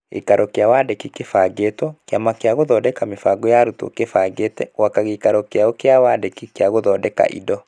Gĩikaro kĩa wandĩki (kĩbangĩtwo), Kĩama gĩa Gũthondeka Mĩbango ya Arutwo kĩbangĩte gwaka gĩikaro gĩayo gĩa wandĩki gĩa gũthondeka indo.